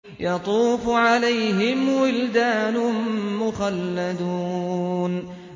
يَطُوفُ عَلَيْهِمْ وِلْدَانٌ مُّخَلَّدُونَ